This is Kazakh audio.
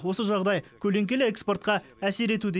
осы жағдай көлеңкелі экспортқа әсер етуде